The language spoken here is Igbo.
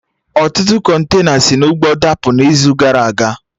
Ọtụtụ kọntena si na ụgbọ dapụ na izu gara aga